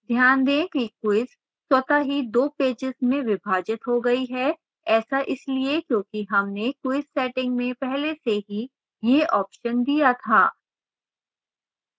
ध्यान दें कि quiz स्वतः ही 2 पेजेस में विभाजित हो गई है ऐसा इसलिए क्योंकि हमने quiz settings में पहले से ही यह option दिया था